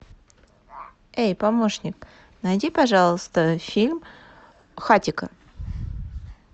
эй помощник найди пожалуйста фильм хатико